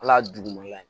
Ala ye duguma ye